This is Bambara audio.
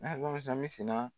N'a ye gɔmɛ sa mi sina